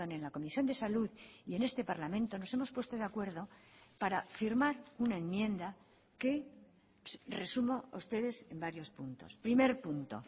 en la comisión de salud y en este parlamento nos hemos puesto de acuerdo para firmar una enmienda que resumo a ustedes en varios puntos primer punto